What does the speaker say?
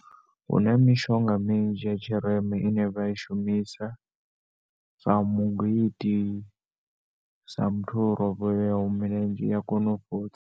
Huna mishonga minzhi ya tshirema ine vha ishumisa sa mugwit, i sa muthu o rovheaho milenzhe iya kona u fhodza.